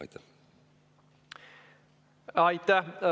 Aitäh!